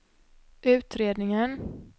utredningen